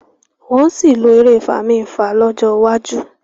wón sí lọ èrè Fami-nfa lójó wájú.